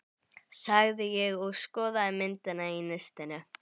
sagði ég og skoðaði myndina í nistinu.